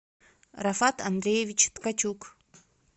рафат андреевич ткачук